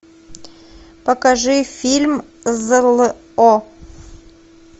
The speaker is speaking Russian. покажи фильм зло